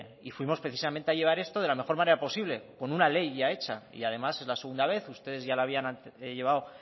y fuimos precisamente a llevar esto de la mejor manera posible con una ley ya hecha y además es la segunda vez ustedes ya la habían llevado